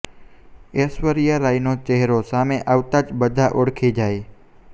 ઐશ્વર્યા રાયનો ચહેરો સામે આવતાં જ બધા ઓળખી જાય